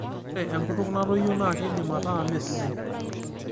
Ore enkutuk natoyio naa keidim ataa meesidai.